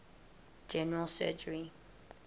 general surgery